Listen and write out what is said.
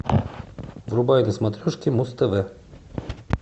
врубай на смотрешке муз тв